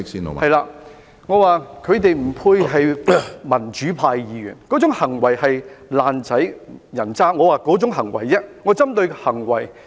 我指他們不配為民主派議員，那種行為是"爛仔"、人渣的行為，我是針對行為。